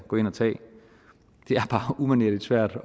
er bare umanerlig svært